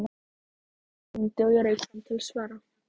Síminn hringdi og ég rauk fram til að svara.